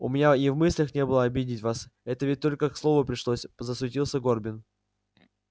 у меня и в мыслях не было обидеть вас это ведь только к слову пришлось засуетился горбин